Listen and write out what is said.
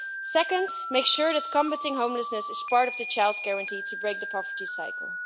Second, let's make sure that combating homelessness is part of the Child Guarantee to break the poverty cycle.